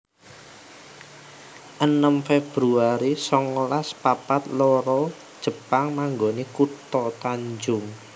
enem februari songolas papat loro Jepang manggoni kutha Tanjung